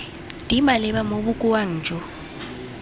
di maleba mo bokaong jo